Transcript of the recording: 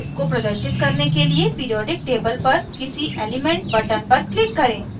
इसको प्रदर्शित करने के लिए पिरीऑडिक table पर किसी element button पर click करें